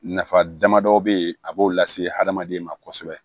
Nafa damadɔ bɛ ye a b'o lase adamaden ma kosɛbɛ